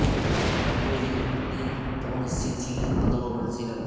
پہلے ہی اپنی کون سی تھی قدر و منزلت